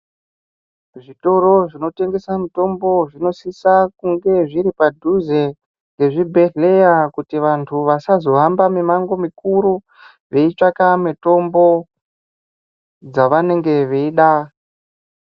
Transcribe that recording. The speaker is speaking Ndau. Zvitoro zvinotingesa mitombo zvinosisa kunge zviri padhuze nezvibhedhleya kuti vantu vasazohamba mumango mikuru veitsvaka mitombo dzavanenge veida.